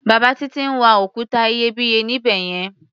Bàbá Títí ń wa òkúta iyebíye níbẹ̀ yẹn.